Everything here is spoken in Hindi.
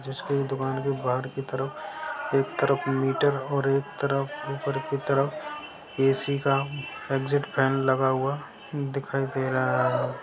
जिसको ये दुकान की बाहर की तरफ एक तरफ मीटर और एक तरफ ऊपर की तरफ एसी का एग्जिट फैन लगा हुआ दिखाई दे रहा है।